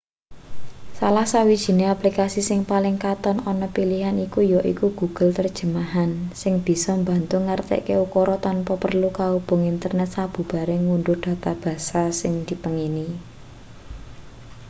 salah sawijine aplikasi sing paling katon ana pilihan iki yaiku google terjemahan sing bisa mbantu ngartekke ukara tanpa perlu kaubung internet sabubare ngundhuh data basa sing dipengini